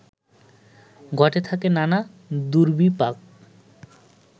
ঘটে থাকে নানা দুর্বিপাক